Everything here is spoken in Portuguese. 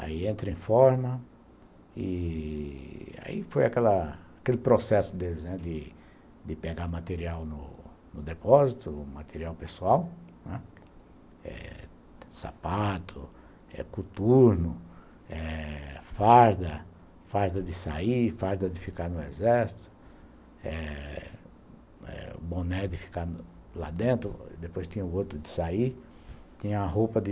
Aí entra em forma, e aí foi aquela aquele processo deles de pegar material no depósito, material pessoal, né, sapato, coturno, eh farda, farda de sair, farda de ficar no exército eh, boné de ficar lá dentro, depois tinha o outro de sair, tinha a roupa de